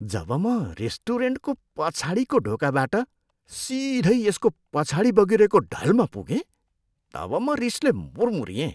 जब म रेस्टुरेन्टको पछाडिको ढोकाबाट सिधै यसको पछाडि बगिरहेको ढलमा पुगेँ तब म रिसले मुर्मुर्रिएँ।